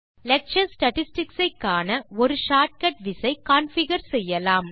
lecture statistics ஐ காண ஒரு ஷார்ட் கட் விசை கான்ஃபிகர் செய்யலாம்